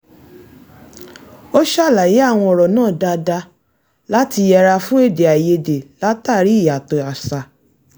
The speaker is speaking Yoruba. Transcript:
ó ṣàlàyé àwọn ọ̀rọ̀ náà dáadáa láti yẹra fún èdè àìyedè látàrí ìyàtọ̀ àṣà